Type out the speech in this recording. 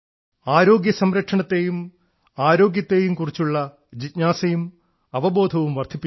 ആരോഗ്യ സംരക്ഷണത്തെയും ആരോഗ്യത്തെയും കുറിച്ചുള്ള ജിജ്ഞാസയും അവബോധവും വർധിപ്പിച്ചു